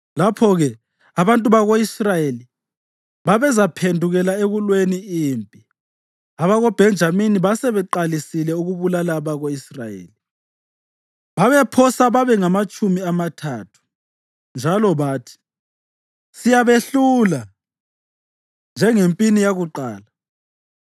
lapho-ke abantu bako-Israyeli babezaphendukela ekulweni empini. AbakoBhenjamini basebeqalisile ukubulala abako-Israyeli (babephosa babengamatshumi amathathu), njalo bathi, “Siyabehlula njengempini yakuqala.”